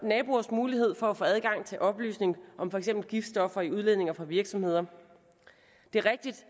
naboers mulighed for at få adgang til oplysninger om for eksempel giftstoffer i udledninger fra virksomheder det er rigtigt